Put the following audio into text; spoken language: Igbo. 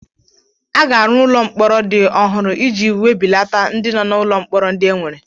A ga-arụ ụlọ mkpọrọ ndị ọhụrụ iji webilata ndị nọ n'ụlọ mkpọrọ ndị enwere.